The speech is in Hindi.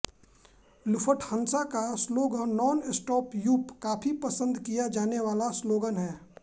लुफ़्टहान्सा का स्लोगन नॉनस्टॉप यू काफी पसंद किया जाने वाला स्लोगन हैं